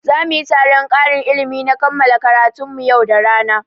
Za muyi taron ƙarin ilimi na kammala karatun mu yau da rana